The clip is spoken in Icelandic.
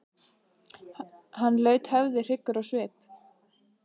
Hann laut höfði hryggur á svip.